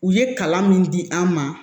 U ye kalan min di an ma